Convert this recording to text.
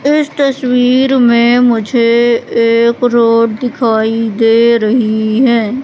इस तस्वीर में मुझे एक रोड दिखाई दे रही है।